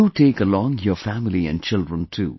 Do take along your family and children too